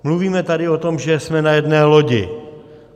Mluvíme tady o tom, že jsme na jedné lodi.